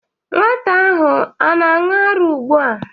Nwata ahụ o na-aṅụ ara ugbu a?